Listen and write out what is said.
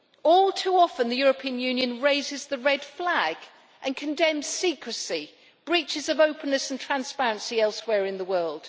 All too often the European Union raises the red flag and condemns secrecy, breaches of openness and transparency elsewhere in the world.